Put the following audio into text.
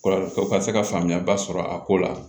Kɔrɔ ka se ka faamuya ba sɔrɔ a ko la